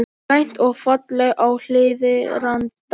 Grænt og fallegt á Hlíðarenda